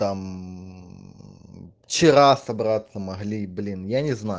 там вчера собраться могли блин я не знаю